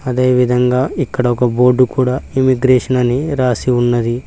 ఈ విధంగా ఇక్కడ ఒక బోర్డు కూడా ఇమిగ్రేషన్ అని రాసి ఉన్నది.